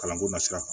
Kalanko na sira kan